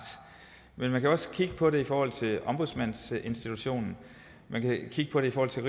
men man kan jo også kigge på det i forhold til ombudsmandsinstitutionen og man kan kigge på det i forhold til